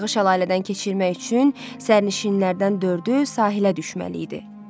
Qayıqı şəlalədən keçirmək üçün sərnişinlərdən dördü sahilə düşməli idi.